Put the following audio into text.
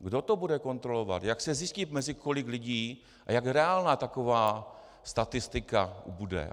Kdo to bude kontrolovat, jak se zjistí, mezi kolik lidí a jak reálná taková statistika bude?